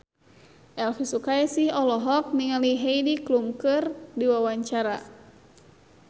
Elvi Sukaesih olohok ningali Heidi Klum keur diwawancara